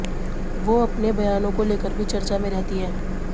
वो अपने बयानों को लेकर भी चर्चा में रहती हैं